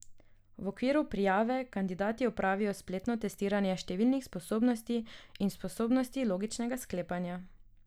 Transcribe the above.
V okviru prijave kandidati opravijo spletno testiranje številnih sposobnosti in sposobnosti logičnega sklepanja.